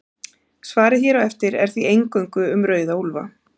Svarið hér á eftir er því eingöngu um rauða úlfa.